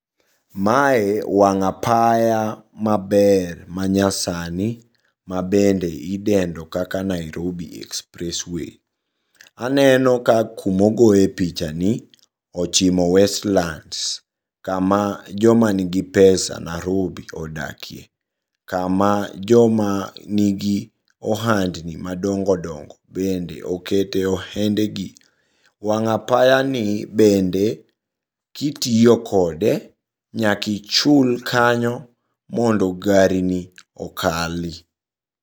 Mae wang' apaya maber manyasani mabende idendo kaka Nairobi express way. Aneno ka kuma ogoye pichani ochimo Westlands, kama jomanigi pesa narobi odakie. Kama jomanigi ohandni madongo dongo bende okete ohendegi. Wang' apayani bende kitiyo kode nyaki ichul kanyo, mondo gari ni okali.